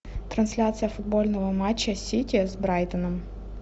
трансляция футбольного матча сити с брайтоном